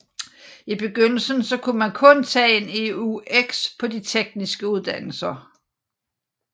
I begyndelsen kunne man kun tage en EUX på de tekniske uddannelser